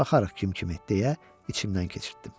Baxarıq kim kimə deyə içimdən keçirtdim.